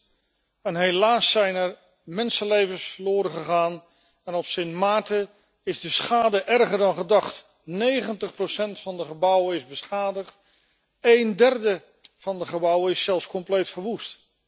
6. Helaas zijn er mensenlevens verloren gegaan en op Sint Maarten is de schade erger dan gedacht 90 van de gebouwen is beschadigd, één derde van de gebouwen is zelfs compleet verwoest.